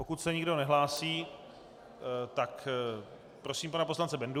Pokud se nikdo nehlásí, tak prosím pana poslance Bendu.